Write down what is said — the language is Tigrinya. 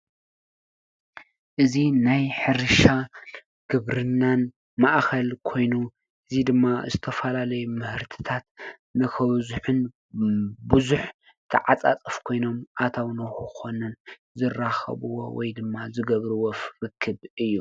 እዚ ናይ ሕርሻን ግብርናን ማእከል ኮይኑ እዚ ድማ ዝተፈላለዩ ምህርትታት ነክበዝሑን ብዙሕ ተዓፃፃፊ ኮይኖም አታዊ ንክኮኑ ዝራከብዎ ወይ ድማ ዝገብርዎ ርክብ እዪ።